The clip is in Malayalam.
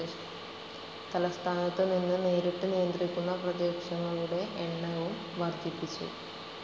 തലസ്ഥാനത്തുനിന്ന് നേരിട്ട് നിയന്ത്രിക്കുന്ന പ്രദേശങ്ങളുടെ എണ്ണവും വർദ്ധിപ്പിച്ചു.